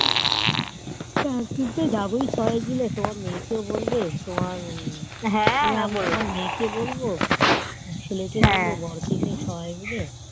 একদিন তো যাবোই সবাই মাইল তোমার মেয়ে কেও বলবে তোমার মেয়ে কে বলবো ছেলে কে বলবো বোরো ছেলে সবাই কে